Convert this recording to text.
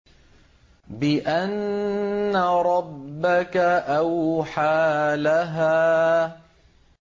بِأَنَّ رَبَّكَ أَوْحَىٰ لَهَا